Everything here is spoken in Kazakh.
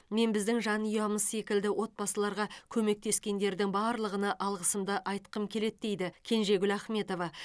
мен біздің жанұямыз секілді отбасыларға көмектескендердің барлығына алғысымды айтқым келеді дейді кенжегүл ахметова